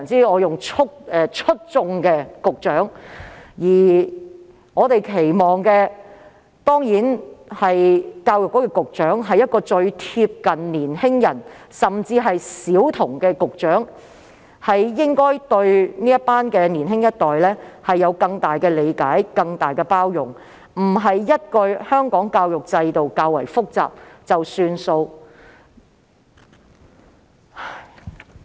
我們當然期望教育局局長是一位貼近年輕人和小孩的局長，對年輕一代有更多的理解和更大的包容，而非說一句香港教育制度較為複雜便算。